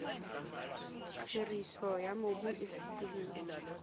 kgiriso ya mobu e fetohile